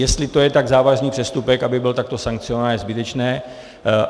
Jestli to je tak závažný přestupek, aby byl takto sankcionován, je zbytečné.